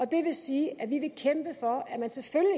det vil sige at vi vil kæmpe for